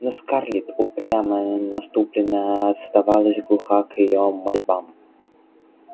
но скарлетт упрямая насупленная оставалась глуха к её мольбам